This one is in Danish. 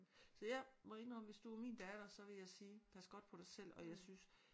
Så jeg må indrømme hvis du var min datter så vil jeg sige pas godt på dig selv og jeg synes